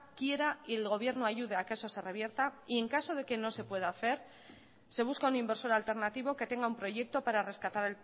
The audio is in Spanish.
quiera y el gobierno ayude a que eso se revierta y en caso de que no se pueda hacer se busca un inversor alternativo que tenga un proyecto para rescatar